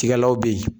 Tigalaw bɛ yen